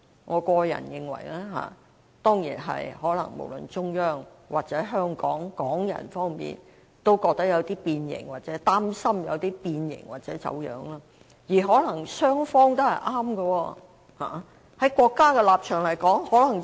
我個人認為，這當然可能是因為中央和香港人都覺得或擔心"一國兩制"的實踐有些變形和走樣，而可能雙方都是對的。